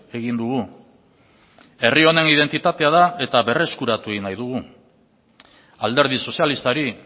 egin dugu herri honen identitatea da eta berreskuratu egin nahi dugu alderdi sozialistari